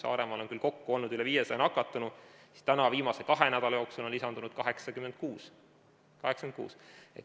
Saaremaal on küll kokku olnud üle 500 nakatunu, kuid viimase kahe nädala jooksul on lisandunud 86.